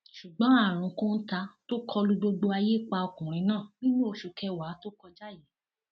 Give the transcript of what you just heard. ṣùgbọn àrùn kóńtà tó kọ lu gbogbo ayé pa ọkùnrin náà nínú oṣù kẹwàá tó kọjá yìí